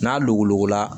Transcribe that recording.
N'a dogola